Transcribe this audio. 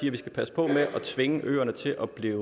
at vi skal passe på med at tvinge øerne til at blive